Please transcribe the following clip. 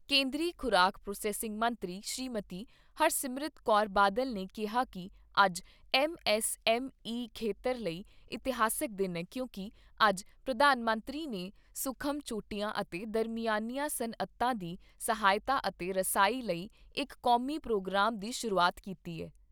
ਕੇਂਦਰੀ ਖ਼ੁਰਾਕ ਪ੍ਰਾਸੈਸਿੰਗ ਮੰਤਰੀ ਸ੍ਰੀਮਤੀ ਹਰਸਿਮਰਤ ਕੌਰ ਬਾਦਲ ਨੇ ਕਿਹਾ ਕਿ ਅੱਜ ਐੱਮ ਐੱਸ ਐੱਮ ਈ ਖੇਤਰ ਲਈ ਇਤਿਹਾਸਕ ਦਿਨ ਏ ਕਿਉਂਕਿ ਅੱਜ ਪ੍ਰਧਾਨ ਮੰਤਰੀ ਨੇ ਸੂਖਮ, ਛੋਟੀਆਂ ਅਤੇ ਦਰਮਿਆਨੀਆਂ ਸੱਨਅਤਾਂ ਦੀ ਸਹਾਇਤਾ ਅਤੇ ਰਸਾਈ ਲਈ ਇਕ ਕੌਮੀ ਪ੍ਰੋਗਰਾਮ ਦੀ ਸ਼ੁਰੂਆਤ ਕੀਤੀ ਏ।